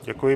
Děkuji.